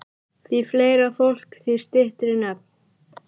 Því fleira fólk, því styttri nöfn.